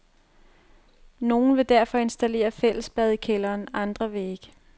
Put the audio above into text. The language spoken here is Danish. Nogle vil derfor installere fællesbad i kælderen, andre vil ikke.